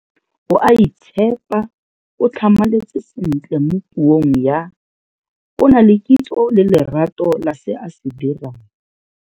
O a itshepa, o tlhamaletse sentle mo puong ya, o na le kitso le lerato la se a se dirang.